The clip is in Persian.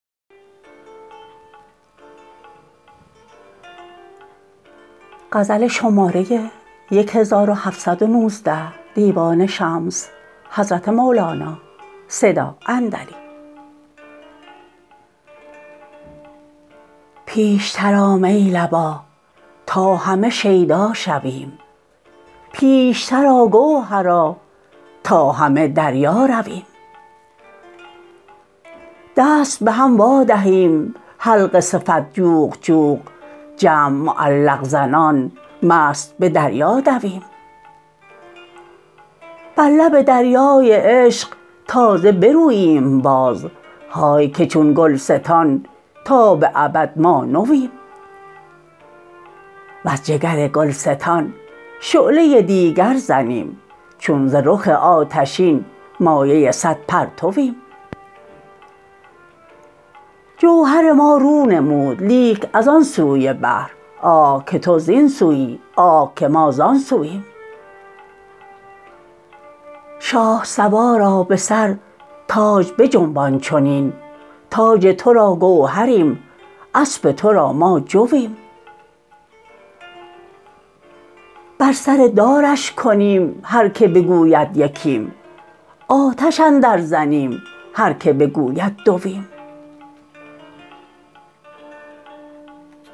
پیشتر آ می لبا تا همه شیدا شویم بیشتر آ گوهرا تا همه دریا رویم دست به هم وادهیم حلقه صفت جوق جوق جمع معلق زنان مست به دریا دویم بر لب دریای عشق تازه بروییم باز های که چون گلستان تا به ابد ما نویم وز جگر گلستان شعله دیگر زنیم چون ز رخ آتشین مایه صد پرتویم جوهر ما رو نمود لیک از آن سوی بحر آه که تو زین سوی آه که ما زان سویم شاه سوارا به سر تاج بجنبان چنین تاج تو را گوهریم اسپ تو را ما جویم بر سر دارش کنیم هر کی بگوید یکیم آتش اندرزنیم هر کی بگوید دویم